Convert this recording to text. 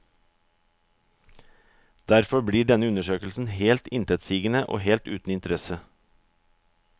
Derfor blir denne undersøkelsen helt intetsigende og helt uten interesse.